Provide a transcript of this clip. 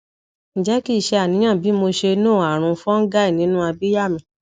nje ki se aniyan bi mo se no arun fungal ninu abia mi